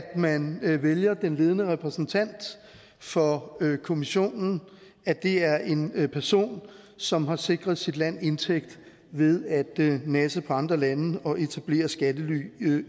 man vælger den ledende repræsentant for kommissionen at det er en person som har sikret sit land indtægt ved at nasse på andre lande og etablere skattely